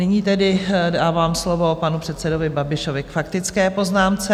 Nyní tedy dávám slovo panu předsedovi Babišovi k faktické poznámce.